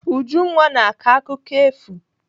Ujunwa na-akọ akụkọ efu.